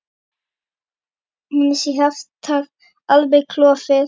Annars er hjartað alveg klofið.